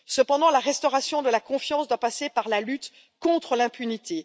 Cependant, la restauration de la confiance doit passer par la lutte contre l'impunité.